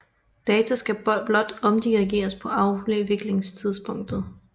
Data skal blot omdirigeres på afviklingstidspunktet